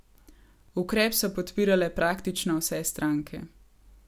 Ukrep so podpirale praktično vse stranke.